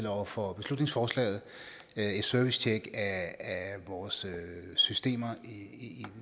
over for beslutningsforslaget et servicetjek af vores systemer i i